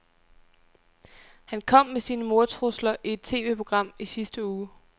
Han kom med sine mordtrusler i et TVprogram i sidste uge.